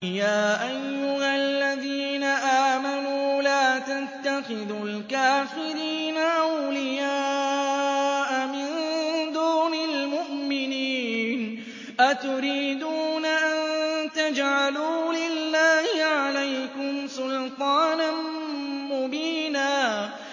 يَا أَيُّهَا الَّذِينَ آمَنُوا لَا تَتَّخِذُوا الْكَافِرِينَ أَوْلِيَاءَ مِن دُونِ الْمُؤْمِنِينَ ۚ أَتُرِيدُونَ أَن تَجْعَلُوا لِلَّهِ عَلَيْكُمْ سُلْطَانًا مُّبِينًا